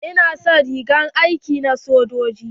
Ina son rigar aiki na sojoji.